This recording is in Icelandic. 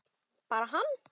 Bara hann?